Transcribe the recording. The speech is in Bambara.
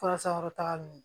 Fura sankɔrɔtagali